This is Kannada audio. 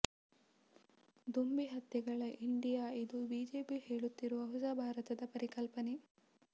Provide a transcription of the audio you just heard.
ದೊಂಬಿ ಹತ್ಯೆಗಳ ಇಂಡಿಯಾ ಇಂದು ಬಿಜೆಪಿ ಹೇಳುತ್ತಿರುವ ಹೊಸ ಭಾರತದ ಪರಿಕಲ್ಪನೆ